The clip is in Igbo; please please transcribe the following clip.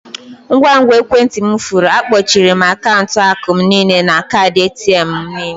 Ngwa ngwa ekwentị m furu, akpọchiere m akaụntụ akụ m niile na kaadị ATM m nile.